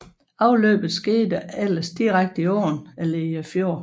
Afløbet skete ellers direkte i åen eller fjorden